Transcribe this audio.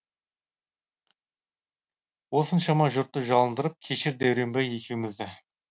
осыншама жұртты жалындырып кешір дәуренбай екеумізді